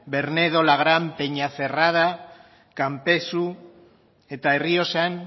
bernedo lagrán peñacerrada kanpezu eta errioxan